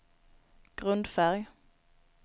grundfärg